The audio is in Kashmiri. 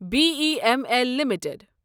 B E M L limited